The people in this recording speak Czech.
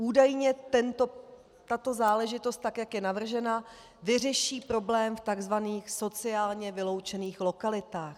Údajně tato záležitost, tak jak je navržena, vyřeší problém v tzv. sociálně vyloučených lokalitách.